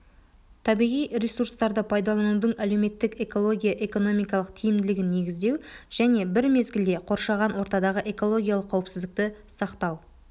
табиғи ресурстарды пайдаланудың әлеуметтік-экология экономикалық тиімділігін негіздеу және бір мезгілде қоршаған ортадағы экологиялық қауіпсіздікті сақтау